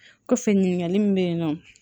Kɔfɛ ɲininkali min bɛ yen nɔ